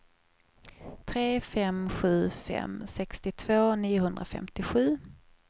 tre fem sju fem sextiotvå niohundrafemtiosju